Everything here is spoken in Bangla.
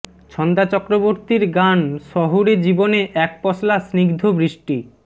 ছন্দা চক্রবর্তীর গান শহুরে জীবনে এক পশলা স্নিগ্ধ বৃষ্টি